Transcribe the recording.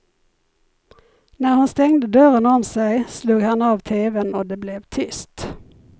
När hon stängde dörren om sig slog han av teven och det blev tyst.